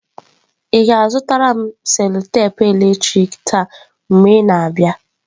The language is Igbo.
Ị ga-azụtara m cello-tepe eletrik taa mgbe ị na-abịa.